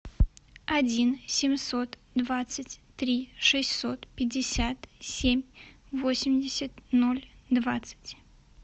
один семьсот двадцать три шестьсот пятьдесят семь восемьдесят ноль двадцать